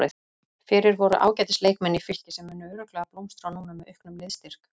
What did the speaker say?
Fyrir voru ágætis leikmenn í Fylki sem munu örugglega blómstra núna með auknum liðsstyrk.